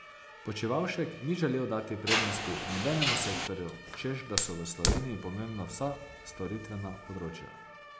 Počivalšek ni želel dati prednosti nobenemu sektorju, češ da so v Sloveniji pomembna vsa storitvena področja.